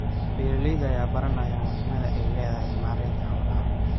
Beeralayda ayaa baranaya muhiimadda ay leedahay maareynta xoolaha.